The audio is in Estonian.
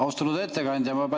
Austatud ettekandja!